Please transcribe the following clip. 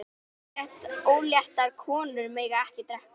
Óléttar konur mega ekki drekka.